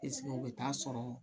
o bɛ t'a sɔrɔ